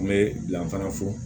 N bɛ yan fana fo